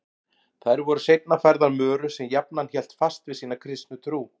Þær voru seinna færðar Möru sem jafnan hélt fast við sína kristnu trú.